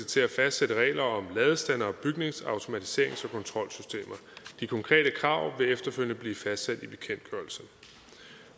til at fastsætte regler om ladestandere og bygningsautomatiserings og kontrolsystemer de konkrete krav vil efterfølgende blive fastsat i bekendtgørelsen